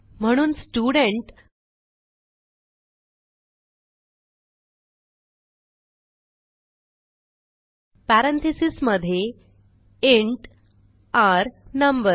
म्हणून student parenthesis मधे enter number